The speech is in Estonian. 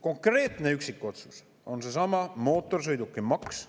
Konkreetne üksikotsus on seesama mootorsõidukimaks.